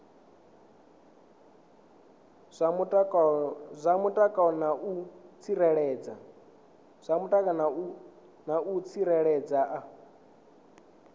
zwa mutakalo na u tsireledzea